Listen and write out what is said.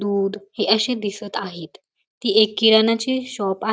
दूध ही अशी दिसत आहेत ती एक किराणा ची शॉप आ --